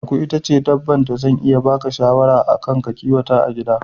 Aku ita ce dabban da zan iya baka shawara a kan ka kiwata ta a gida